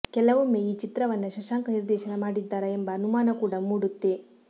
ಕೆಲವೊಮ್ಮೆ ಈ ಚಿತ್ರವನ್ನ ಶಶಾಂಕ್ ನಿರ್ದೇಶನ ಮಾಡಿದ್ದಾರಾ ಎಂಬ ಅನುಮಾನ ಕೂಡ ಮೂಡುತ್ತೆ